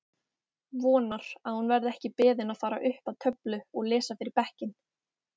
Vonar að hún verði ekki beðin að fara upp að töflu og lesa fyrir bekkinn!